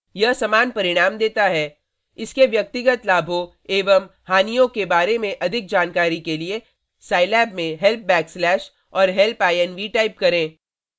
यह समान परिणाम देता है इसके व्यक्तिगत लाभों एवं हानियों के बारे में अधिक जानकारी के लिये साईलैब में हेल्प बैकस्लैश help backslash और help inv help inv type करें